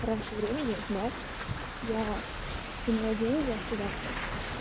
раньше времени да я кинула деньги туда